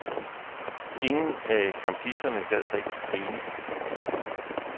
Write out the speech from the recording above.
Ingen af campisterne gad rigtig grine.